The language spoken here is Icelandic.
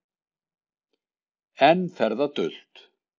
Enn fer það dult